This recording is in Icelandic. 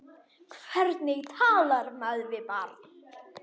Hvernig talar maður við barn?